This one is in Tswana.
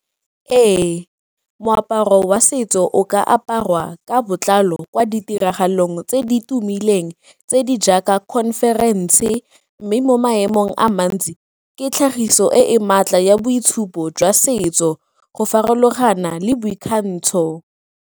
Ee, moaparo wa setso o ka aparwa ka botlalo kwa ditiragalong tse di tumileng tse di jaaka conference-e mme mo maemong a mantsi ke tlhagiso e e maatla ya boitshupo jwa setso go farologana le boikgantsho.